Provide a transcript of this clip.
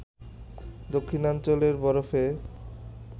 দক্ষিণাঞ্চলে বরফে